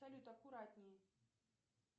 салют аккуратней